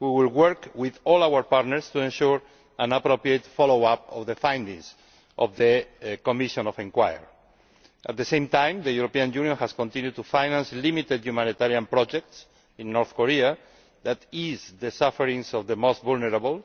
We will work with all our partners to ensure an appropriate follow up to the findings of the Commission of Inquiry. At the same time, the European Union has continued to finance limited humanitarian projects in North Korea that ease the sufferings of the most vulnerable